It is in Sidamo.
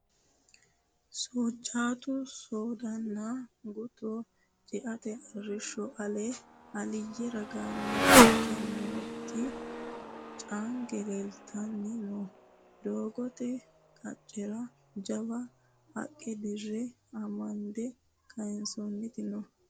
Soojjatu soodanna qutto ceate arrisho ale aliyye ragaani fulte nooti caange leelittanni no doogote qaccerano jawa gaqqe dira amande kayinsonniti no.